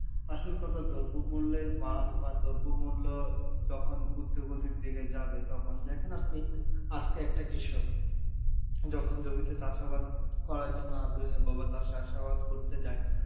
আসল কথা দ্রব্যমূল্যের মান বা দ্রব্যমূল্য যখন উর্ধগতির দিকে যাবে তখন দেখেন আপনি আজকে একটা কৃষক যখন জমিতে চাষাবাদ করার জন্য আগ্রহয় বা চাষাবাদ করতে যায়,